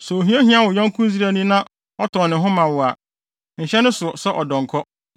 “ ‘Sɛ ohia hia wo yɔnko Israelni na ɔtɔn ne ho ma wo a, nhyɛ ne so sɛ ɔdɔnkɔ;